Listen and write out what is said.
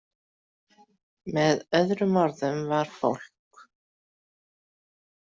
Með öðrum orðum var fólk.